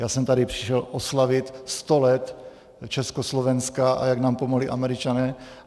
Já jsem tady přišel oslavit 100 let Československa, a jak nám pomohli Američané.